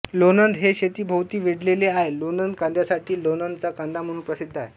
लोणंद हे शेतीभोवती वेढलेले आहे लोणंद कांद्यासाठी लोणंद चा कांदा म्हणून प्रसिद्ध आहे